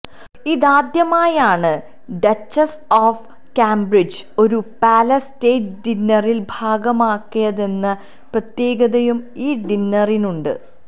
ഇതാദ്യമായാണ് duchess of Cambridge ഒരു palace state ഡിന്നറിൽ ഭാഗഭാക്കായതെന്ന പ്രത്യേകതയും ഈ ഡിന്നറിനുണ്ട്